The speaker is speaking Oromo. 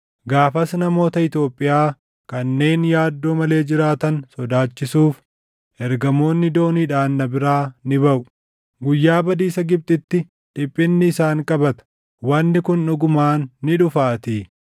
“ ‘Gaafas namoota Itoophiyaa kanneen yaaddoo malee jiraatan sodaachisuuf, ergamoonni dooniidhaan na biraa ni baʼu. Guyyaa badiisa Gibxitti dhiphinni isaan qabata; wanni kun dhugumaan ni dhufaatii.